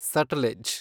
Sutlej